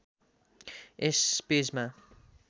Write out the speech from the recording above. यस पेजमा